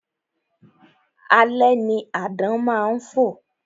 Alẹ́ ni àdán má ń fò